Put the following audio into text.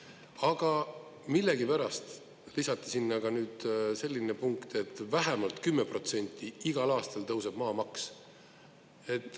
Aga millegipärast lisati sinna ka nüüd selline punkt, et vähemalt 10% igal aastal tõuseb maamaks.